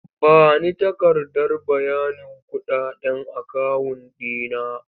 Ba ni takardar bayanin kuɗaɗen akawun ɗi na!